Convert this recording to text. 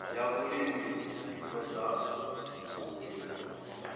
ya vhulimi i ṱoḓou livhuwa